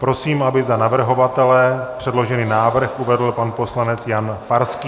Prosím, aby za navrhovatele předložený návrh uvedl pan poslanec Jan Farský.